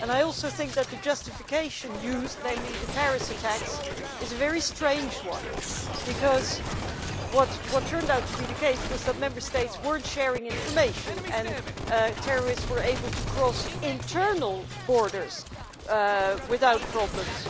I also think that the justification used, namely the Paris attacks, is a very strange one, because what turned out to be the case was that Member States were not sharing information and terrorists were able to cross internal borders without problems